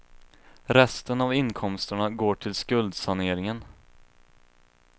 Resten av inkomsterna går till skuldsaneringen.